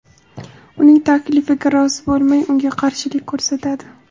uning taklifiga rozi bo‘lmay unga qarshilik ko‘rsatadi.